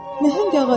Məhəng ağacdır.